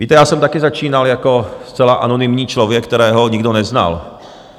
Víte, já jsem taky začínal jako zcela anonymní člověk, kterého nikdo neznal.